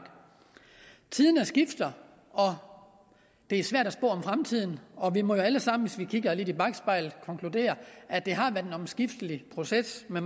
tiderne skifter det er svært at spå om fremtiden og vi må jo alle sammen hvis vi kigger lidt i bakspejlet konkludere at det har været en omskiftelig proces vi